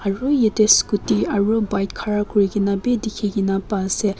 aru yate scooty aru bike ghara kurikena dekhi ba ase.